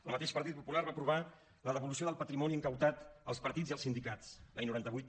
el mateix partit popular va aprovar la devolució del patrimoni confiscat als partits i als sindicats l’any noranta vuit